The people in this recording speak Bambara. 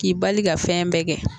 K'i bali ka fɛn bɛ kɛ